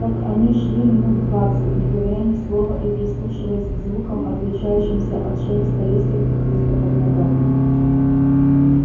так они шли минут двадцать не говоря ни слова и прислушиваясь к звукам отличающимся от шелеста листьев и хруста под ногами